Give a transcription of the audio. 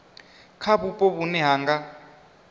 kha vhupo vhune ha nga